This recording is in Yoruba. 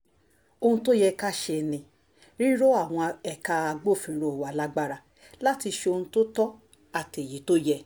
ohun tó yẹ ká ṣe ni rírọ àwọn ẹ̀ka agbófinró wa lágbára láti ṣe ohun tó tọ́ àtèyí tó yẹ